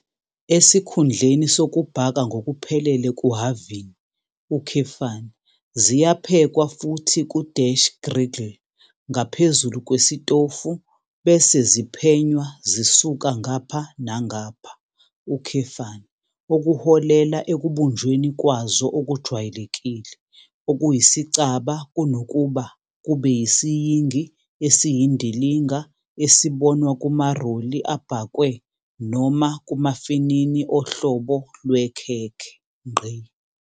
Esikhundleni sokubhaka ngokuphelele kuhhavini, ziyaphekwa futhi ku-griddle ngaphezulu kwesitofu bese ziphenywa zisuka ngapha nangapha, okuholela ekubunjweni kwazo okujwayelekile okuyisicaba kunokuba kube yisiyingi esiyindilinga esibonwa kumaroli abhakwe noma kumafinini ohlobo lwekhekhe.